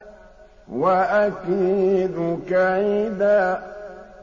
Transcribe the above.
وَأَكِيدُ كَيْدًا